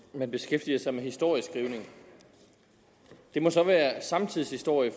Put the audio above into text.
man beskæftiger sig med historieskrivning det må så være samtidshistorie